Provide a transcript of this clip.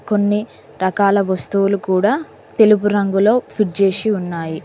కొన్ని రకాల వస్తువులు కూడా తెలుపు రంగులో ఫిట్ చేసి ఉన్నాయి.